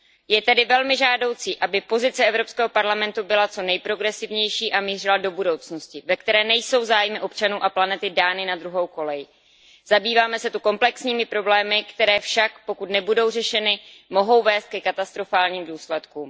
Je tedy velmi žádoucí, aby pozice Evropské parlamentu byla co nejprogresivnější a mířila do budoucnosti, ve které nejsou zájmy občanů a planety dány na druhou kolej. Zabýváme se tu komplexními problémy, které však, pokud nebudou řešeny, mohou vést ke katastrofálním důsledkům.